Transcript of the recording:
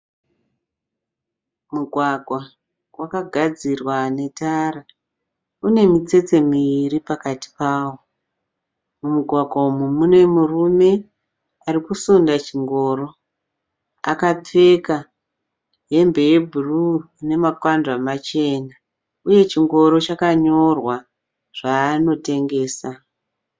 Mugwagwa wakagadzirwa netara une mitsetse miviri pakati pawo. Mumugwagwa umu mune murume ari kusunda chingoro. Akapfeka hembe yebhuruu ine makwandwa machena, uye chingoro chakanyorwa zvaanotengesa.